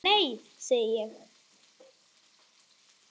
Nei segi ég.